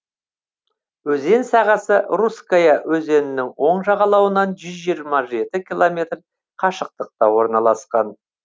өзен сағасы русская өзенінің оң жағалауынан жүз жиырма жеті километр қашықтықта орналасқан